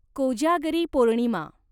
Kojagari Purnima